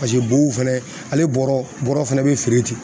bow fɛnɛ ale bɔrɛ fɛnɛ be feere ten